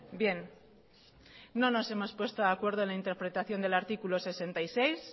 bien no nos hemos puesto de acuerdo en la interpretación del artículo sesenta y seis